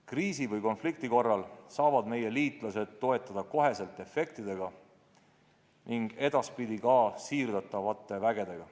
Kriisi või konflikti korral saavad meie liitlased toetada otsekohe efektidega ning edaspidi ka siirdavate vägedega.